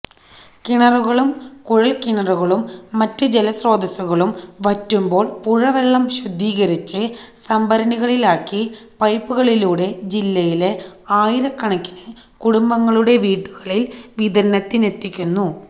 കിണറുകളും കുഴല്ക്കിണറുകളും മറ്റ് ജലസ്രോതസുകളും വറ്റുമ്പോള് പുഴവെള്ളം ശുദ്ധീകരിച്ച് സംഭരണികളിലാക്കി പൈപ്പുകളിലൂടെ ജില്ലയിലെ ആയിരക്കണക്കിന് കുടുംബങ്ങളുടെ വീടുകളില് വിതരണത്തിനെത്തിക്കുന്നു